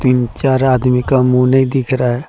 तीन चार आदमी का मुंह नहीं दिख रहा है।